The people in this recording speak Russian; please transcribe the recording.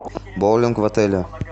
боулинг в отеле